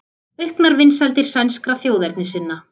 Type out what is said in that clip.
Auknar vinsældir sænskra þjóðernissinna